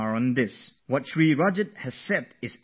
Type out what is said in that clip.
What Rajat ji has said is worth pondering over